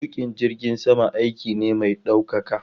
Tukin jirgin sama aiki ne mai daukaka